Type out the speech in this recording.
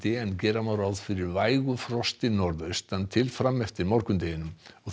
en gera má ráð fyrir vægu frosti norðaustan til fram eftir morgundeginum